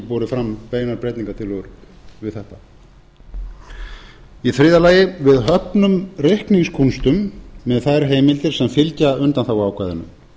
borið fram beinar breytingartillögur við þetta í þriðja lagi við höfnum reikningskúnstum með þær heimildir sem fylgja undanþáguákvæðinu